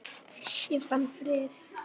Ég fann frið.